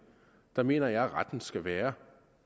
jeg mener at retten skal være